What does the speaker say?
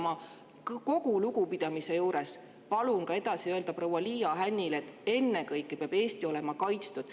Ma kogu lugupidamise juures palun edasi öelda ka proua Liia Hännile, et ennekõike peab Eesti olema kaitstud.